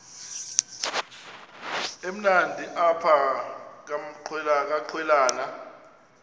emnandi apha kwaqhelwana